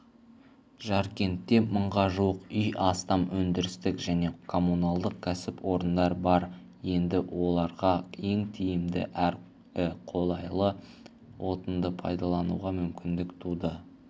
жаркентте мыңға жуық үй астам өндірістік және коммуналдық кәсіпорындар бар енді оларға ең тиімді әрі қолайлы отынды пайдалануға мүмкіндік туды